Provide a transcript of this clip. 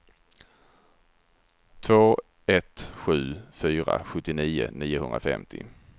två ett sju fyra sjuttionio niohundrafemtio